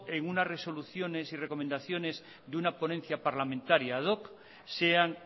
unas resoluciones y recomendaciones de una ponencia parlamentaria ad hoc sean